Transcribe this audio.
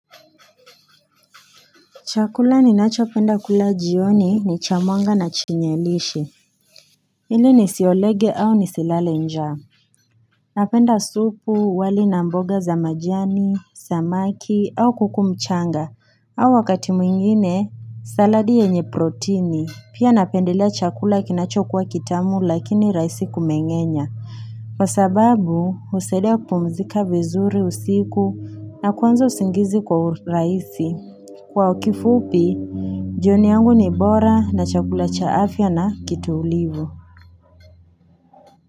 Chakula ninacho penda kula jioni ni cha mwanga na chenye lishe, ili nisiolege au nisilale njaa Napenda supu, wali na mboga za majani, samaki au kuku mchanga, au wakati mwingine saladi yenye protini, pia napendelea chakula kinacho kuwa kitamu lakini rahisi kumeng'enya kwa sababu husaidia kupumzika vizuri usiku na kuanza usingizi kwa urahisi. Kwa ukifupi, jioni yangu ni bora na chakula cha afya na kitulivu.